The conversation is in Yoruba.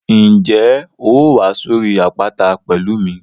Ǹjẹ́ o óò wá sórí àpáta pẹ̀lú mi?